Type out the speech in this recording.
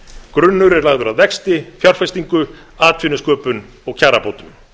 grunnur er lagður að vexti fjárfestingu atvinnusköpun og kjarabótum